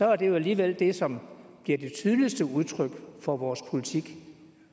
er det jo alligevel det som bliver det tydeligste udtryk for vores politik